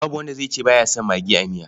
Babu wanda zai ce ba ya son magi a miya.